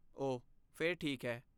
ਓਹ, ਫਿਰ ਠੀਕ ਹੈ।